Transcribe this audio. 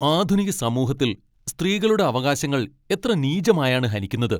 ആധുനിക സമൂഹത്തിൽ സ്ത്രീകളുടെ അവകാശങ്ങൾ എത്ര നീചമായാണ് ഹനിക്കുന്നത്!